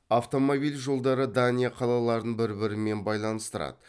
автомобил жолдары дания қалаларын бір бірімен байланыстырады